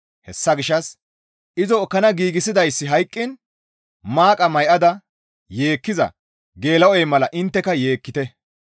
Hessa gishshas izo ekkana giigsidayssi hayqqiin maaqa may7ada yeekkiza geela7oy mala intteka yeekkite.